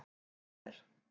Hver er.